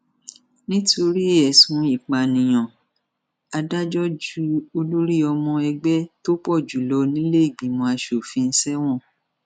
nítorí ẹsùn ìpànìyàn adájọ ju olórí ọmọ ẹgbẹ tó pọ jù lọ nílẹẹgbìmọ asojúṣòfin sẹwọn